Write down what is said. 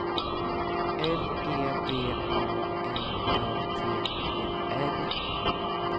L E D A M Ö T E R